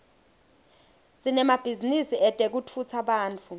sinemabhizinisi etekutfutsa bantfu